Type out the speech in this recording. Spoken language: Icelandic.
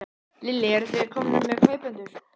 Lillý: Eruð þið þegar komnir með kaupendur?